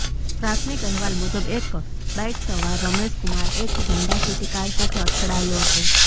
પ્રાથમિક અહેવાલ મુજબ એક બાઇકસવાર રમેશ કુમાર એક હોન્ડા સિટી કાર સાથે અથડાયો હતો